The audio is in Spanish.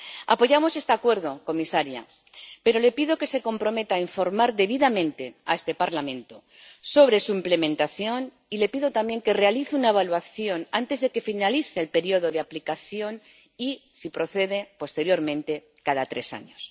Apoyamos este Acuerdo, comisaria, pero le pido que se comprometa a informar debidamente a este Parlamento sobre su implementación, y le pido también que realice una evaluación antes de que finalice el periodo de aplicación y, si procede, posteriormente, cada tres años.